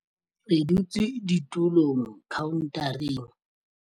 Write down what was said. Re dutse ditulong khaontareng.